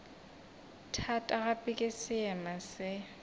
thata gape ke seema se